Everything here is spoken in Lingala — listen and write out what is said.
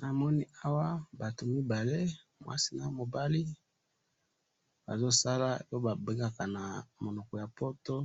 na moni awa batu mibale mwasi namo bali baso sala po ba bengaka na monoko ya poto